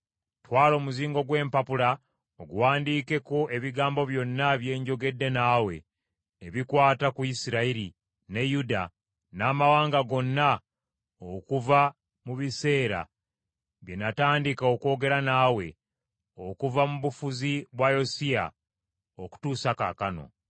“Twala omuzingo gw’empapula oguwandiikeko ebigambo byonna bye njogedde naawe ebikwata ku Isirayiri, ne Yuda n’amawanga gonna okuva mu biseera bye natandika okwogera naawe okuva mu bufuzi bwa Yosiya okutuusa kaakano.